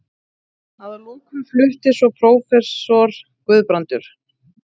Að lokum flutti svo prófessor Guðbrandur